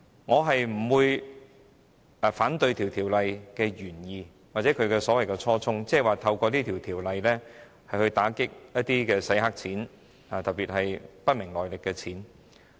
我不反對《條例草案》的原意或初衷，即透過《條例草案》打擊洗黑錢，特別是不明來歷的資金。